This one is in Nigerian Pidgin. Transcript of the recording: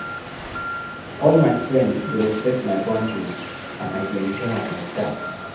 All my frend dey respect my boundaries, and I dey enjoy am like dat.